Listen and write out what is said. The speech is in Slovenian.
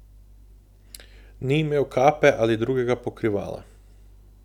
Ni imel kape ali drugega pokrivala.